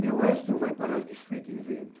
Meu estro vai parar desfeito em vento.